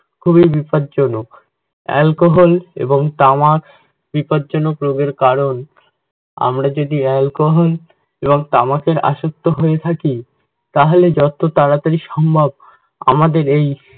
খুবই বিপদজনক। alcohol এবং তামাক বিপদজনক রোগের কারণ, আমরা যদি alcohol এবং তামাকের আসক্ত হয়ে থাকি তাহলে যত তাড়াতাড়ি সম্ভব আমাদের এই